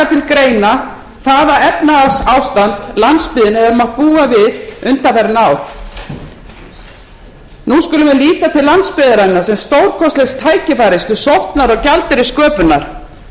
greina hvaða efnahagsástand landsbyggðin hefur mátt búa við undanfarin ár nú skulum við líta til landsbyggðarinnar sem stórkostlegs tækifæris til sóknar og gjaldeyrissköpunar þar höfum